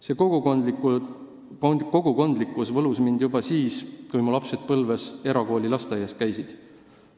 See kogukondlikkus võlus mind juba siis, kui mu lapsed Põlvas erakooli lasteaias käisid.